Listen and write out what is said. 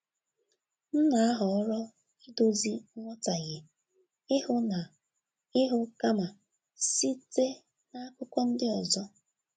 M na-ahọrọ idozi nghọtahie ihu na ihu kama site n’akụkọ ndị ọzọ.